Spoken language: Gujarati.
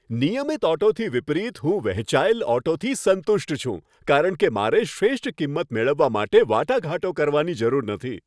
નિયમિત ઓટોથી વિપરીત, હું વહેંચાયેલ ઓટોથી સંતુષ્ટ છું કારણ કે મારે શ્રેષ્ઠ કિંમત મેળવવા માટે વાટાઘાટો કરવાની જરૂર નથી.